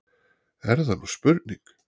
Er það nú spurning!